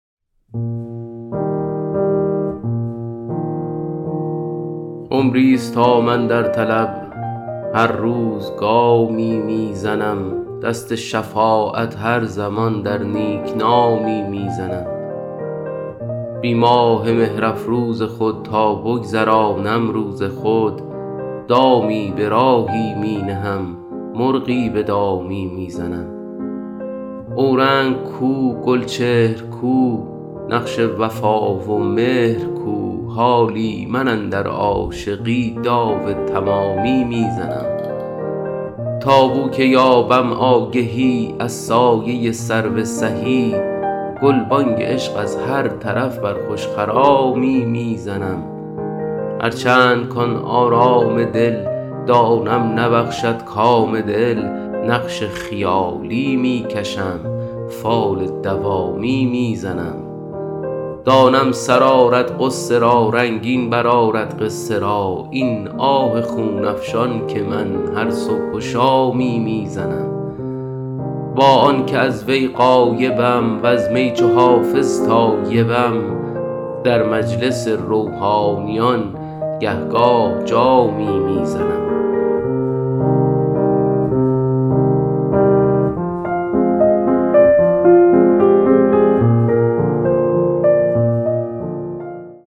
عمریست تا من در طلب هر روز گامی می زنم دست شفاعت هر زمان در نیک نامی می زنم بی ماه مهرافروز خود تا بگذرانم روز خود دامی به راهی می نهم مرغی به دامی می زنم اورنگ کو گلچهر کو نقش وفا و مهر کو حالی من اندر عاشقی داو تمامی می زنم تا بو که یابم آگهی از سایه سرو سهی گلبانگ عشق از هر طرف بر خوش خرامی می زنم هرچند کـ آن آرام دل دانم نبخشد کام دل نقش خیالی می کشم فال دوامی می زنم دانم سر آرد غصه را رنگین برآرد قصه را این آه خون افشان که من هر صبح و شامی می زنم با آن که از وی غایبم وز می چو حافظ تایبم در مجلس روحانیان گه گاه جامی می زنم